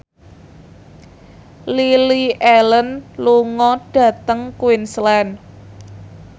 Lily Allen lunga dhateng Queensland